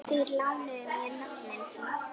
Þeir lánuðu mér nöfnin sín.